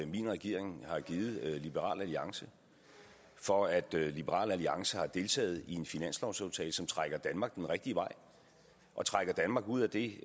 min regering har givet liberal alliance for at liberal alliance har deltaget i en finanslovsaftale som trækker danmark den rigtige vej og trækker danmark ud af det